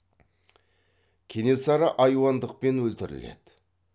кенесары айуандықпен өлтіріледі